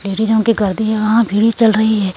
लेडीज़ो के गर्दे यहां भिड़ी चल रही है।